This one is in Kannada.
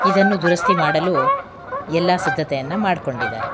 ಇದನ್ನು ದುರಸ್ತಿ ಮಾಡಲು ಎಲ್ಲಾ ಸಿದ್ದತೆಯನ್ನ ಮಾಡ್ಕೊಂಡಿದ್ದಾರೆ.